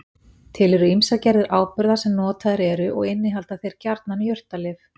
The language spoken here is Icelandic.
Til eru ýmsar gerðir áburða sem notaðir eru og innihalda þeir gjarnan jurtalyf.